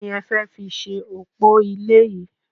Ki ni e fẹ́ fi ṣe òpò ilé yìí?